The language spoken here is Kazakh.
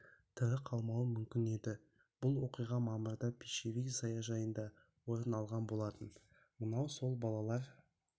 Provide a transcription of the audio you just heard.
тірі қалмауы мүмкін еді бұл оқиға мамырда пищевик саяжайында орын алған болатын мынау сол балалар